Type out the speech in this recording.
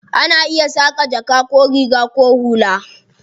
Ana iya saƙa jaka ko riga ko hula.